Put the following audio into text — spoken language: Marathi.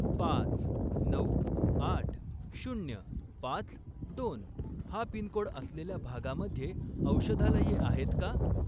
पाच, नऊ, आठ, शून्य, पाच, दोन हा पिनकोड असलेल्या भागामध्ये औषधालये आहेत का?